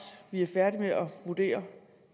vi er færdige med at vurdere